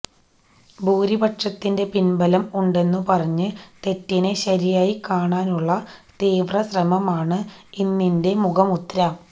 ഭൂരിപക്ഷത്തിന്റെ പിൻബലം ഉണ്ടെന്നു പറഞ്ഞ് തെറ്റിനെ ശരിയായി കാണാനുള്ള തീവ്രശ്രമമാണ് ഇന്നിന്റെ മുഖമുദ്ര